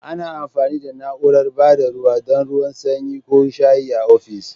Ana amfani da na'urar ba da ruwa don ruwan sanyi ko shayi a ofis.